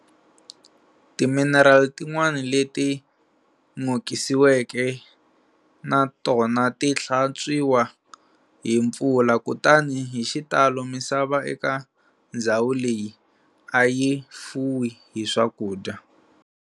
Timinerali tin'wana leti n'okisiweke na tona ti hlantswiwa hi mpfula, kutani hi xitalo misava eka ndzhawu leyi ayi fuwi hi swakudya.